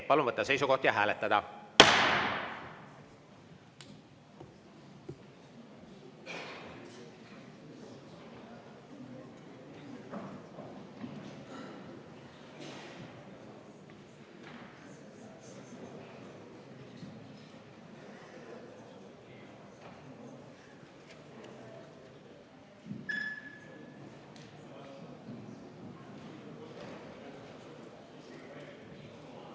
Palun võtta seisukoht ja hääletada!